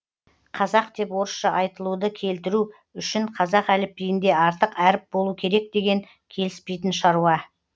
казак деп орысша айтылуды келтіру үшін қазақ әліпбиінде артық әріп болу керек деген келіспейтін шаруа